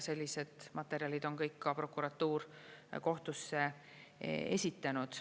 Sellised materjalid on kõik ka prokuratuur kohtusse esitanud.